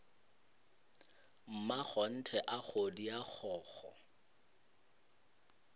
mmakgonthe a kgodi a kgokgo